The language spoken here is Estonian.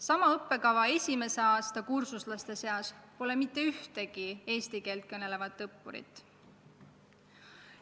Sama õppekava esimese aasta kursuslaste seas pole mitte ühtegi eesti keelt kõnelevat õppurit.